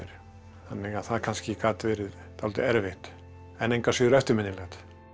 þannig að það kannski gat verið dálítið erfitt en engu að síður eftirminnilegt